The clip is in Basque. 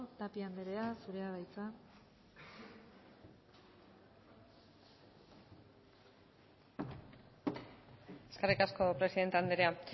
tapia anderea zurea da hitza eskerrik asko presidente anderea